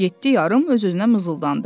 Yeddi yarım öz-özünə mızıldandı.